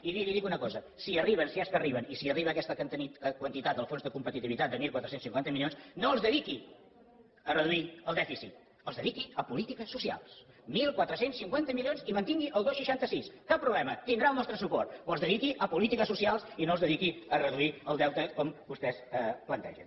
i miri li dic una cosa si arriben si és que arriben i si arriba aquesta quantitat del fons de competitivitat de catorze cinquanta milions no els dediqui a reduir el dèficit els dediqui a polítiques socials catorze cinquanta milions i mantingui el dos coma seixanta sis cap problema tindrà el nostre suport però els dediqui a polítiques socials i no els dediqui a reduir el deute com vostès plantegen